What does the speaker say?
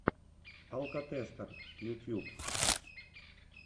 алкотестер ютьюб